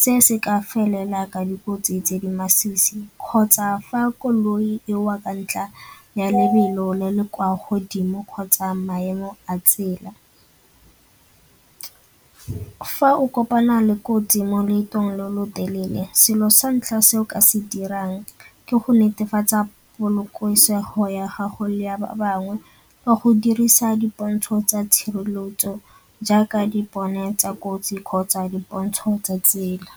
se se ka felela ka dikotsi tse di masisi kgotsa fa koloi e wa ka ntla ya lebelo le le kwa godimo kgotsa maemo a tsela. Fa o kopana le kotsi mo loetong lo lo telele selo sa ntlha se o ka se dirang ke go netefatsa polokesego ya gago le ya ba bangwe ka go dirisa dipontsho tsa tshireletso jaaka dipone tsa kotsi kgotsa dipontsho tsa tsela.